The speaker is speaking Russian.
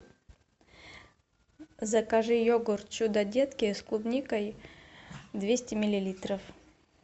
закажи йогурт чудо детки с клубникой двести миллилитров